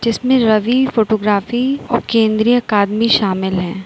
इसमें रवि फोटोग्राफी और केंद्रीय अकादमी शामिल है।